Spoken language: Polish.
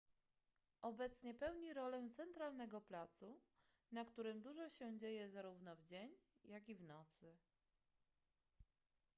obecnie pełni rolę centralnego placu na którym dużo się dzieje zarówno w dzień jak i w nocy